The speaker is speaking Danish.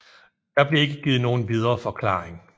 Der blev ikke givet nogen videre forklaring